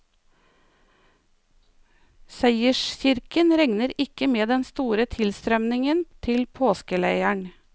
Seierskirken regner ikke med den store tilstrømmingen til påskeleiren.